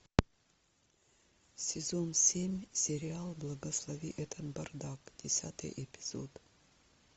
сезон семь сериал благослови этот бардак десятый эпизод